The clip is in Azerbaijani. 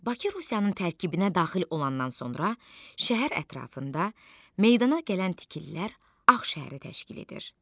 Bakı Rusiyanın tərkibinə daxil olandan sonra şəhər ətrafında meydana gələn tikililər Ağ şəhəri təşkil edir.